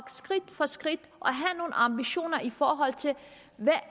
skridt for skridt at ambitioner i forhold til hvad